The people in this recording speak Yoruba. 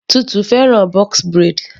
Tutu fẹ́ràn box braid.